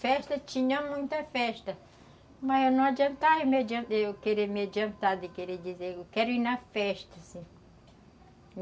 Festa, tinha muita festa, mas não adiantava eu querer me adiantar de querer dizer, eu quero ir na festa, assim